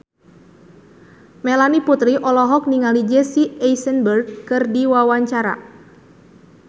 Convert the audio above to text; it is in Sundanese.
Melanie Putri olohok ningali Jesse Eisenberg keur diwawancara